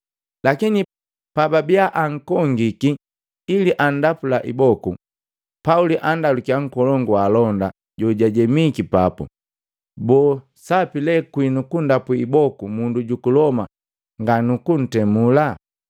Lakini pababia ankongiki ili andapula iboku, Pauli andalukiya nkolongu wa alonda jojajemiki papu, “Boo sapi lee kwinu kundapu iboku mundu juku Loma nga nuku ntemula?”